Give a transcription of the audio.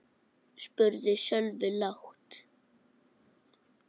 spurði Sölvi lágt.